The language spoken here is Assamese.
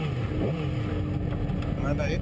আমাৰ বাৰীত